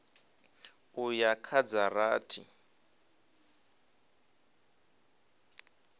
u ya kha dza rathi